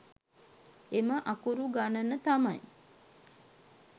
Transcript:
එම අකුරු ගණන තමයි